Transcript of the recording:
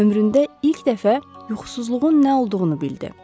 Ömründə ilk dəfə yuxusuzluğun nə olduğunu bildi.